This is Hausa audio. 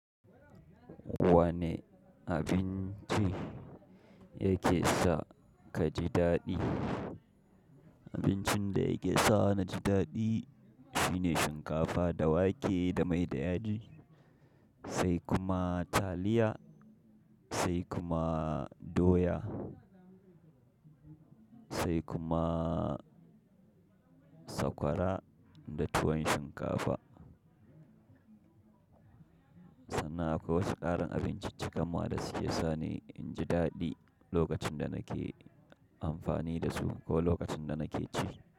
Wane abinci yake sa ka ji daɗi? Abincin da yake sa na ji daɗi shine shinkafa da wake da mai da yaji sai kuma taliya sai kuma doya sai kuma sakwara da tuwon shinkafa. Sannan akwai wasu ƙarin abinciccikan ma waɗanda suke sani in ji daɗi lokacin da nake amfani da su ko lokacin da nake ci.